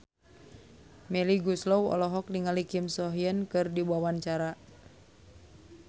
Melly Goeslaw olohok ningali Kim So Hyun keur diwawancara